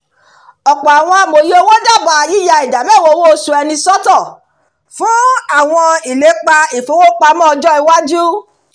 ọ̀pọ̀ àwọn amòye owó dábàá yíya ìdá mẹ́wàá owo oṣù ẹni sọ́tọ̀ fún àwọn ìlépa ìfowópamọ́ ọjọ́ iwáju